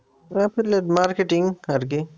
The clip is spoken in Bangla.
Affiliate marketing আরকি?